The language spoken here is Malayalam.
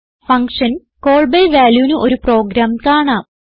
ഫങ്ഷൻ കോൾ ബി valueന് ഒരു പ്രോഗ്രാം കാണാം